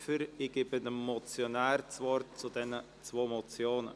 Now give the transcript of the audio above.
Ich gebe dem Motionär das Wort zu diesen zwei Motionen.